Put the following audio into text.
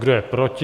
Kdo je proti?